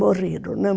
Morreram, né?